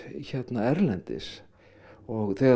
erlendis og þegar